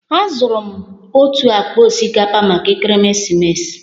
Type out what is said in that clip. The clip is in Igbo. Azụrụ m otu akpa osikapa maka Ekeresimesi